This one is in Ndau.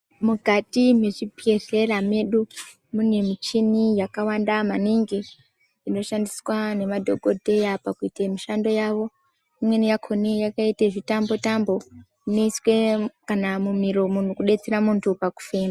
Mukati mezvibhedhlera medu mune michini yakawanda maningi nemadhokodheya pakuita mishando yawo imweni yakona yakaita zvitambi zvitambi inoiswa kana mumiromo kudetsera muntu pakufema.